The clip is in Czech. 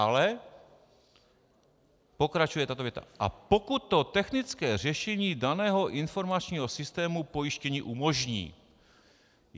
Ale pokračuje tato věta: "a pokud to technické řešení daného informačního systému pojištění umožní."